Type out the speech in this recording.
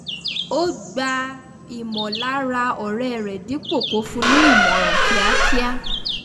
ó gbà ìmọ̀lára ọ̀rẹ́ rẹ́ dípò kó fún ní ìmòràn kíákíá